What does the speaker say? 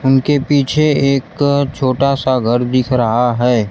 उनके पीछे एक छोटा सा घर दिख रहा है।